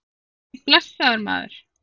Nei, blessaður, maður.